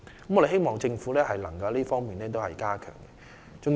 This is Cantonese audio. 我們希望政府能夠加強這方面的工作。